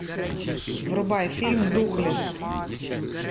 врубай фильм духлесс